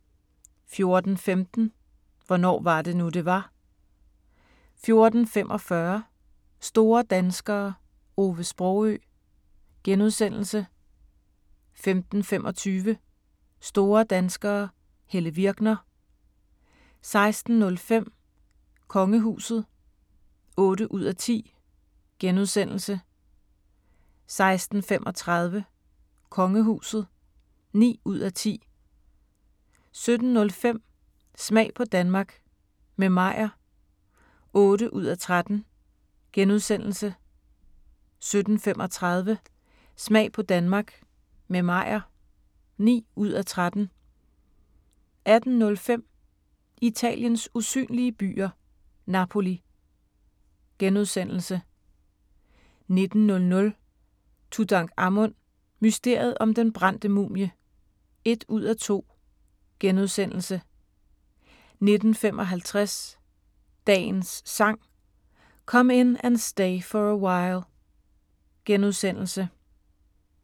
14:15: Hvornår var det nu, det var? 14:45: Store danskere - Ove Sprogøe * 15:25: Store danskere - Helle Virkner 16:05: Kongehuset (8:10)* 16:35: Kongehuset (9:10) 17:05: Smag på Danmark – med Meyer (8:13)* 17:35: Smag på Danmark – med Meyer (9:13) 18:05: Italiens usynlige byer – Napoli * 19:00: Tutankhamun: Mysteriet om den brændte mumie (1:2)* 19:55: Dagens Sang: Come In And Stay For A While *